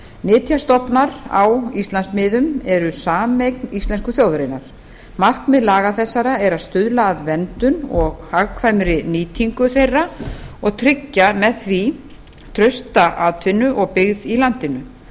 nytjastofnar á íslandsmiðum eru sameign íslensku þjóðarinnar markmið laga þessara er að stuðla að verndun og hagkvæmri nýtingu þeirra og tryggja með því trausta atvinnu og byggð í landinu